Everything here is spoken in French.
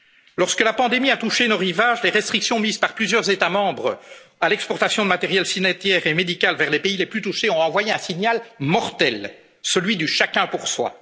européen. Lorsque la pandémie a touché nos rivages, les restrictions mises par plusieurs États membres à l'exportation de matériel sanitaire et médical vers les pays les plus touchés ont envoyé un signal mortel celui du chacun